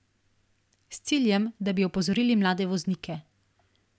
S ciljem, da bi opozorili mlade voznike.